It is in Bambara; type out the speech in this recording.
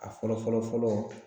A fɔlɔ fɔlɔ fɔlɔ